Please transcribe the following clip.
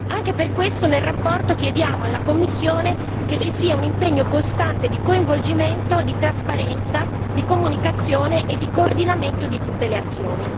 Anche per questo nella relazione chiediamo alla Commissione che ci sia un impegno costante di coinvolgimento, di trasparenza, di comunicazione e di coordinamento di tutte le azioni.